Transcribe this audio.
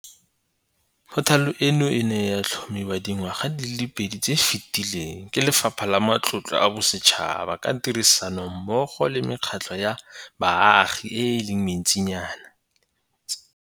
Phothale eno e ne ya tlhomiwa dingwaga di le pedi tse di fetileng ke Lefapha la Matlotlo a Bosetšhaba ka tirisanommo go le mekgatlho ya baagi e le mentsinyana.